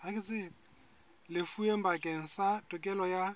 lefuweng bakeng sa tokelo ya